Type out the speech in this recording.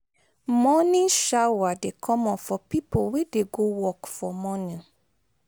morning shower dey common for pipo wey dey go work for morning